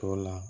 Tɔ la